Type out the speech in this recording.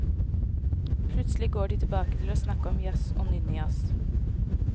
Plutselig går de tilbake til å snakke om jazz, og nynne jazz.